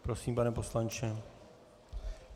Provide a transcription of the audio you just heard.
Prosím, pane poslanče.